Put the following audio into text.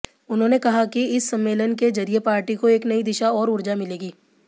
उन्होंने कहा कि इस सम्मेलन के जरिए पार्टी को एक नई दिशा और ऊर्जा मिलेगी